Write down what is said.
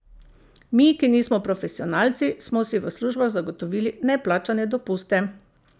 Mi, ki nismo profesionalci, smo si v službah zagotovili neplačane dopuste.